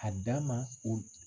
A dan ma o